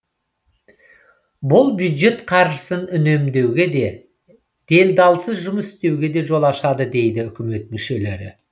бұл бюджет қаржысын үнемдеуге де делдалсыз жұмыс істеуге де жол ашады дейді үкімет мүшелері